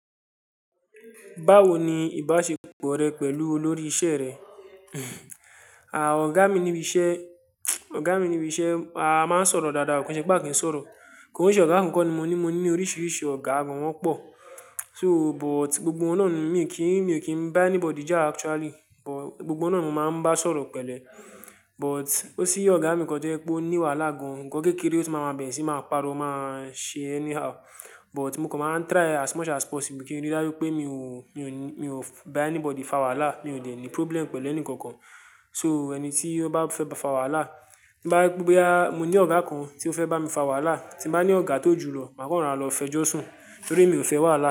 Báwo ni ìbáṣepọ̀ rẹ pẹ̀lú olórí iṣẹ́ rẹ? À, ọ̀gá mi níbi iṣẹ́, ọ̀gá mi níbi iṣẹ́ a máa ń sọ̀rọ̀ dáadáa, kò ṣe pé aá kì ń sọ̀rọ̀. Kò n se ọ̀gá kan kọ́ ni mo ní, mo ní oríṣiríṣi ọ̀gá gan wọ́n pọ̀. So but gbogbo wọn náà ni mi kì í, mi ò kí ń bá anybody já actually, but gbogbo wọn náà ni mo máa ń bá sọ̀rọ̀ pẹ̀lẹ́. But ó sí ọ̀gá mi kan jẹ́ pé ó ní wàhálà gan, nǹkan kékeré tí ó máa ma bẹ̀rẹ̀ sí i máa ń pariwo, máa ṣe anyhow. But mo kan máa ń try as much as possible kín rí dájú pé mi ò, mi ò, mi ò bá anybody fa wàhálà. Mi ò ṣe díẹ̀ ní problem pẹ̀lú ẹnìkankan. So ẹni tí ó bá fẹ́ fa wàhálà, to bá jẹ pé bóyá, mo ní ọ̀gá kan tí ó fẹ́ bá mi fa wàhálà, tín bá ní ọ̀gá tó jù lọ, màá kan rọra lọ fẹjọ́ sùn, torí emi ò fẹ́ wàhálà.